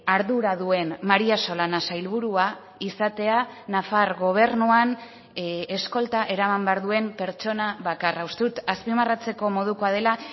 ardura duen maría solana sailburua izatea nafar gobernuan eskolta eraman behar duen pertsona bakarra uste dut azpimarratzeko modukoa dela